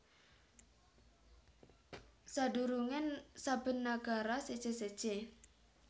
Sadurunge saben nagara séjé séjé